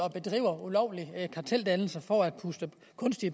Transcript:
og bedriver ulovlige karteldannelser for at puste